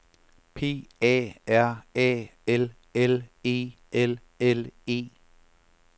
P A R A L L E L L E